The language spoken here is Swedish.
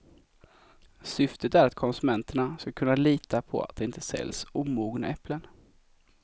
Syftet är att konsumenterna skall kunna lita på att det inte säljs omogna äpplen.